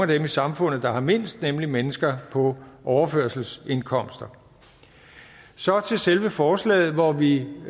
dem i samfundet der har mindst nemlig mennesker på overførselsindkomster så til selve forslaget hvor vi